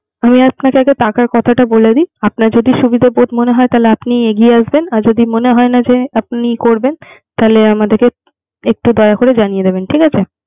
আমি আপনাকে আগে কাছে টাকার কথাটা বলে দি। আপনার যদি সুবিধাবোধ মনে হয় তাহলে আপনি এগিয়ে আসবেন। আর যদি মনে হয় না যে আপনি করবেন। তাহলে আমি একটু দয়া করে জানিয়ে দিবেন